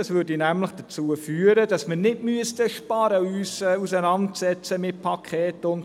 Dies würde nämlich dazu führen, dass wir nicht sparen müssten und uns mit Sparpaketen und so weiter auseinandersetzen müssten.